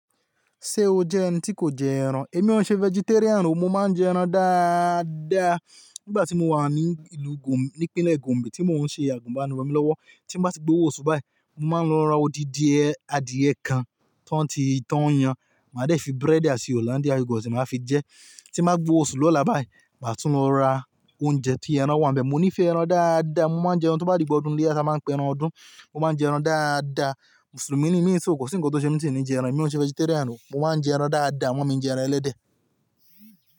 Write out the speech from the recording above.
Ṣé o jẹ́ ẹni tí kò jẹ ẹran? Èmi ò ṣe vegetarian o, mo máa ń jẹ ẹran dáadáa. Nígbà tí mo wà ní ìlú ní ìpínlẹ̀ Gombe, tí mo ń ṣe àgùnbánirọ̀ mi lọ́wọ́, tí m bá ti gbowó oṣù báyìí, mo máa ń lọ ra odidin adìyẹ kan tó ń ti tán yẹn, màá dẹ̀ fi búrẹ́dì àti Hollandia yogurt máa fi jẹ. Tí m bá gbowó oṣù lọ́la báyìí, màá tún lọ ra oúnjẹ tí ẹran wà níbẹ̀. Mo nífẹ̀ẹ́ ẹran dáadáa, mo máa ń jẹ ẹran tó bá di ìgbà ọdún iléyá, ta máa ń pè ẹran ọdún, mo máa ń jẹ ẹran dáadáa. Mùsùlùmí ni mí, èso kò sí nǹkan tó ṣe mí tí ì ni jẹ ẹran, èmi ò ṣe vegetarian o, mo máa ń jẹ ẹran dáadáa, àmọ́ mi jẹ ẹran ẹlẹ́dẹ̀.